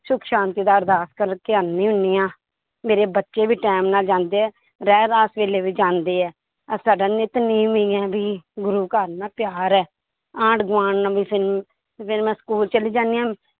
ਸੁੱਖ ਸ਼ਾਂਤੀ ਦਾ ਅਰਦਾਸ ਕਰਕੇ ਆਉਂਦੀ ਹੁੰਦੀ ਹਾਂ, ਮੇਰੇ ਬੱਚੇ ਵੀ time ਨਾਲ ਜਾਂਦੇ ਹੈ ਰਹਿਰਾਸ ਵੇਲੇ ਵੀ ਜਾਂਦੇ ਹੈ ਅਹ ਸਾਡਾ ਨਿਤਨੇਮ ਇਹੀ ਹੈ ਵੀ ਗੁਰੂ ਘਰ ਨਾਲ ਪਿਆਰ ਹੈ, ਆਂਢ ਗੁਆਂਢ ਨਾਲ ਵੀ ਸਾਨੂੰ ਤੇ ਫਿਰ ਮੈਂ school ਚਲੀ ਜਾਂਦੀ ਹਾਂ,